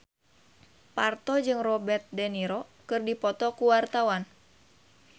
Parto jeung Robert de Niro keur dipoto ku wartawan